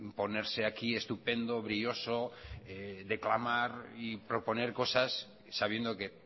ponerse aquí estupendo brioso de clamar y proponer cosas sabiendo que